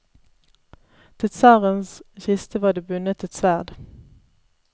Til tsarens kiste var det bundet et sverd.